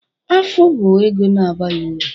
Afụ bụ ego na-abaghị uru